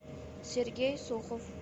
сергей сухов